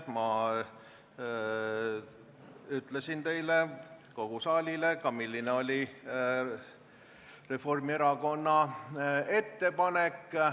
Ma ütlesin teile, kogu saalile, milline oli Reformierakonna ettepanek.